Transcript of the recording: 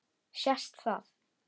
Sést það?